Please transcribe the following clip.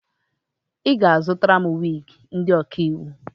Ị ga-azụtara m wiigi ndị ọkaiwu!